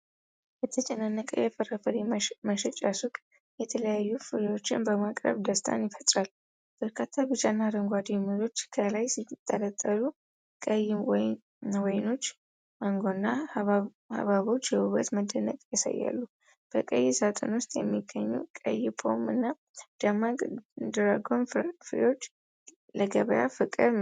የተጨናነቀ የፍራፍሬ መሸጫ ሱቅ የተለያዩ ፍሬዎችን በማቅረብ ደስታን ይፈጥራል። በርካታ ቢጫና አረንጓዴ ሙዞች ከላይ ሲንጠለጠሉ፤ ቀይ ወይኖች፣ ማንጎዎች እና ሐብሐቦች የውበት መደነቅን ያሳያሉ። በቀይ ሳጥን ውስጥ የሚገኙት ቀይ ፖም እና ደማቅ ድራጎን ፍሬዎች ለገበያ ፍቅር መኖሩን ያመለክታሉ።